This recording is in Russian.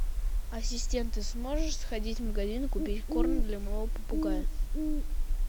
ассистент ты сможешь сходить в магазин и купить корм для моего попугая